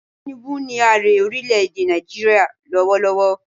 Tinubu ni ààre orílẹ̀ èdè Nàìjíríà lọ́wọ́ lọ́wọ́